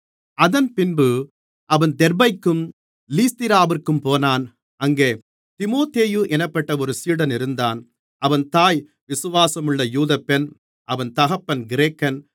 அதன்பின்பு அவன் தெர்பைக்கும் லீஸ்திராவிற்கும் போனான் அங்கே தீமோத்தேயு என்னப்பட்ட ஒரு சீடன் இருந்தான் அவன் தாய் விசுவாசமுள்ள யூதப்பெண் அவன் தகப்பன் கிரேக்கன்